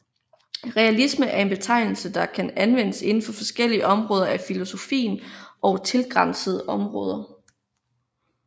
Realisme er en betegnelse der kan anvendes inden for forskellige områder af filosofien og tilgrænsende områder